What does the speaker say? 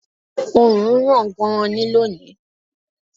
Oòrùn ràn gan-an ni lónìí